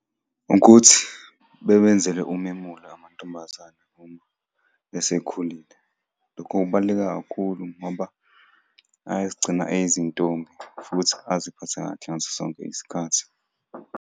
Ukuthi bewenzele umemulo amantombazane, esekhulile. Lokhu kubaluleke kakhulu ngoba ayazigcina eyizintombi futhi aziphathe kahle ngaso sonke isikhathi.